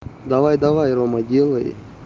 давай давай рома делай